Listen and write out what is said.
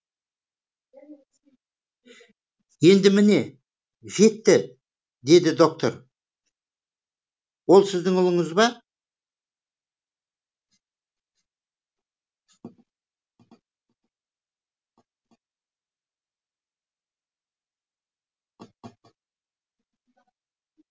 енді міне жетті деп доктор ол сіздің ұлыңыз ба